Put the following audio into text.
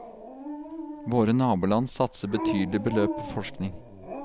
Våre naboland satser betydelige beløp på forskning.